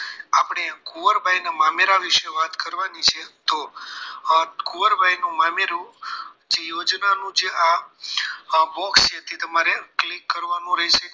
આપણે કુંવરબાઈના મામેરા વિશે વાત કરવાની છે તો કુવરબાઈનુ મામેરુ જે યોજના નું જે આ box છે તે તમારે click કરવાનું રહેશે